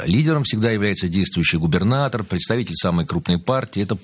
а лидером всегда является действующий губернатор представитель самый крупной партии это